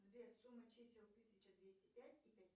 сбер сумма чисел тысяча двести пять и пять